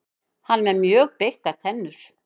Hann er með mjög beittar tennur.